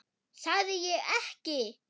Sagði ég ekki!